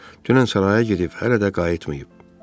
Dünən saraya gedib, hələ də qayıtmayıb.